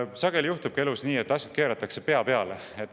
Sageli juhtubki elus nii, et asjad keeratakse pea peale.